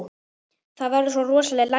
Það verða svo rosaleg læti.